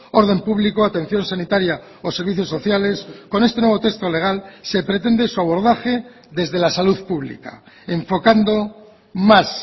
orden público atención sanitaria o servicios sociales con este nuevo texto legal se pretende su abordaje desde la salud pública enfocando más